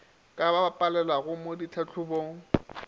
ka ba palelago mo ditlhahlobong